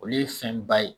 Olu ye fɛn ba ye